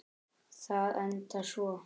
Það endar svona